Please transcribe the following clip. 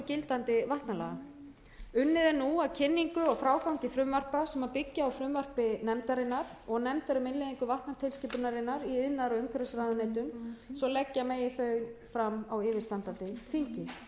gildandi vatnalaga unnið er nú að kynningu og frágangi frumvarpa sem byggja á frumvarpi nefndarinnar og nefndar um innleiðingu vatnatilskipunarinnar í iðnaðar og umhverfisráðuneytum svo leggja megi þau fram á yfirstandandi þingi